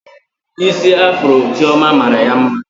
Isi afuro Chioma mara ya mma